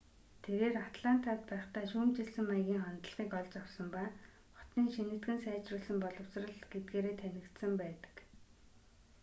тэрээр атлантад байхдаа шүүмжилсэн маягийн хандлагыг олж авсан ба хотын шинэтгэн сайжруулсан боловсрол гэдгээрээ танигдсан байдаг